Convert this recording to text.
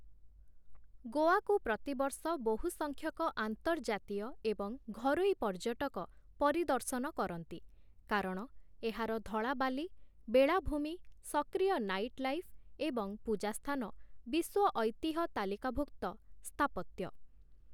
ଗୋଆକୁ ପ୍ରତିବର୍ଷ ବହୁସଂଖ୍ୟକ ଆନ୍ତର୍ଜାତୀୟ ଏବଂ ଘରୋଇ ପର୍ଯ୍ୟଟକ ପରିଦର୍ଶନ କରନ୍ତି କାରଣ ଏହାର ଧଳା ବାଲି, ବେଳାଭୂମି, ସକ୍ରିୟ ନାଇଟ୍ ଲାଇଫ୍, ଏବଂ ପୂଜାସ୍ଥାନ ବିଶ୍ୱ ଐତିହ୍ୟ ତାଲିକାଭୁକ୍ତ ସ୍ଥାପତ୍ୟ ।